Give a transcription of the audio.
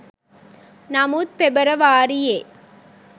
නමුත් පෙබරවාරියේ